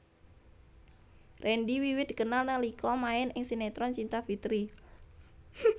Randy wiwit dikenal nalika main ing sinetron Cinta Fitri